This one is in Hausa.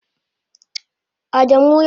Adamu yace zeyi sharan Uwardaka na.